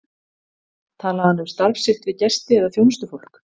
Talaði hann um starf sitt við gesti eða þjónustufólk?